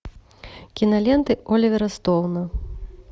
киноленты оливера стоуна